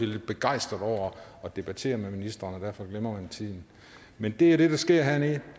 lidt begejstret over at debattere med ministeren og derfor glemmer man tiden men det er det der sker hernede